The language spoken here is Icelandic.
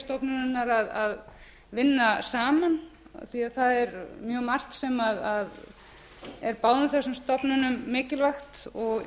stofnunarinnar að vinna saman af því að það er mjög margt sem er báðum þessum stofnunum mikilvægt og